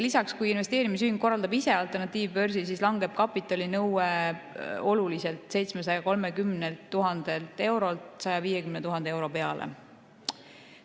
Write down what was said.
Lisaks, kui investeerimisühing korraldab ise alternatiivbörsi, siis langeb kapitalinõue oluliselt, 730 000 eurolt 150 000 euro peale.